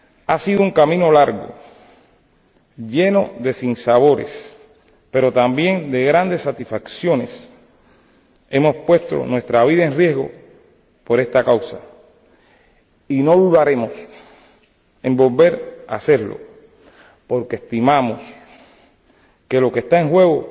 Ha sido un camino largo, lleno de sinsabores, pero también de grandes satisfacciones. Hemos puesto nuestra vida en riesgo por esta causa y no dudaremos en volver a hacerlo, porque estimamos que lo que está en juego